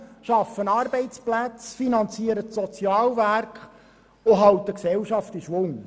sie schaffen Arbeitsplätze, finanzieren die Sozialwerke und halten die Gesellschaft in Schwung.